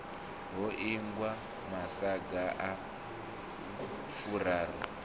ho ingwa masaga a furaru